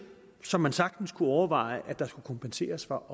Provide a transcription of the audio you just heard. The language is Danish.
som man sagtens kunne overveje at der også skulle kompenseres for